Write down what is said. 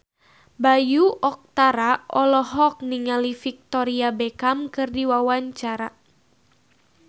Bayu Octara olohok ningali Victoria Beckham keur diwawancara